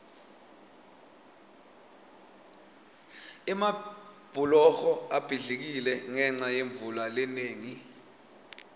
emabhuloho abhidlikile ngenca yemvula lenengi